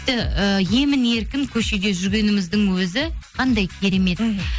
тіпті ііі емін еркін көшеде жүргеніміздің өзі қандай керемет мхм